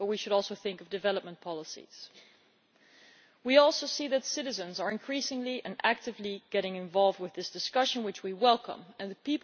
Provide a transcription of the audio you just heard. But we should also think of development policies. We see, too, that citizens are increasingly and actively getting involved with this discussion, and we welcome this.